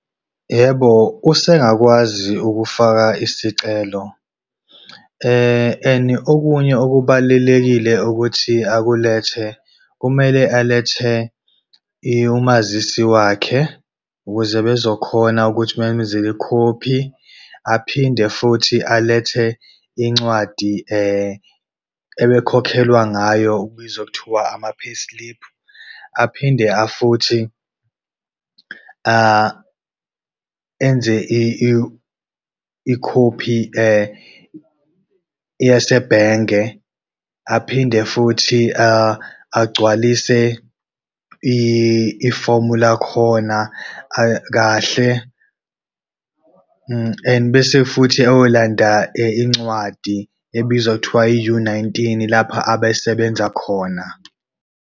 Yebo, usengakwazi ukufaka isicelo. And okunye okubalulekile ukuthi akulethe kumele alethe umazisi wakhe, ukuze bezokhona ukuthi bemenzele ikhophi, aphinde futhi alethe incwadi ebekhokhelwa ngayo okubizwa kuthiwa ama-payslip. Aphinde afuthi enze ikhophi yasebhenge, aphinde futhi agcwalise ifomu lakhona kahle. And bese futhi eyolanda incwadi ebizwa kuthiwa i-U nineteen lapha abesebenza khona.